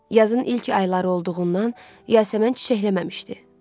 Yazın ilk ayları olduğundan yasəmən çiçəkləməmişdi.